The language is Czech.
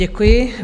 Děkuji.